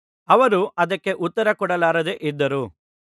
ಅವರು ಅದಕ್ಕೆ ಉತ್ತರಕೊಡಲಾರದೆ ಇದ್ದರು